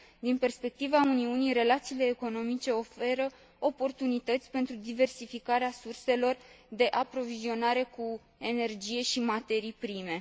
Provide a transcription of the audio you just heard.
Din perspectiva Uniunii, relațiile economice oferă oportunități pentru diversificarea surselor de aprovizionare cu energie și materii prime.